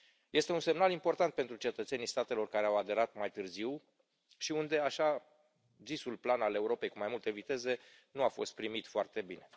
Este un semnal important pentru cetățenii statelor care au aderat mai târziu și unde așa zisul plan al Europei cu mai multe viteze nu a fost primit foarte bine.